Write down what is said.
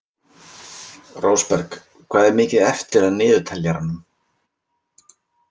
Rósberg, hvað er mikið eftir af niðurteljaranum?